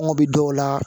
An kun bɛ dɔw la